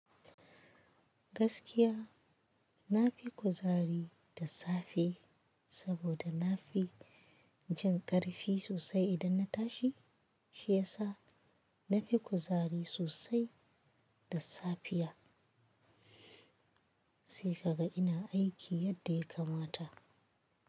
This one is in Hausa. Gaskiya, na fi kuzari da safe, saboda na fi jin ƙarfi sosai idan na tashi. Shi ya sa na fi kuzari sosai da safiya, sai ka ga ina aiki yadda ya kamata.